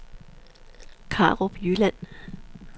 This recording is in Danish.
Karup Jylland